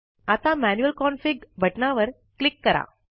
आता manual config बटनावर click करा